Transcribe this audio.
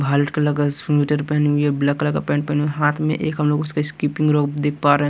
White colour का sweater पहनी हुई है ब्लैक कलर का पैंट पहनी हाथ में एक हम लोग उसके स्किपिंग रोप देख पा रहे।